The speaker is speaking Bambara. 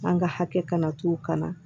An ka hakɛ kana to u kana